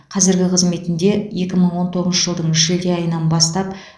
қазіргі қызметінде екі мың он тоғызыншы жылдың шілде айынан бастап